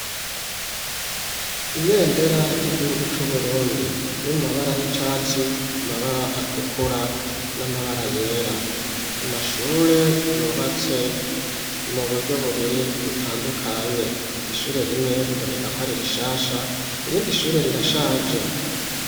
Ibendera ry'igihugu cu Burundi riri mu mabara y'icatsi amabara atukura n'amabara yera amashure yubatse mu buryo bubiri butandukanye ishure rimwe biboneka ko ari rishasha irindi shure rirashaje.